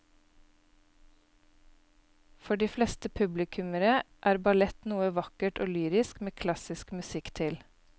For de fleste publikummere er ballett noe vakkert og lyrisk med klassisk musikk til.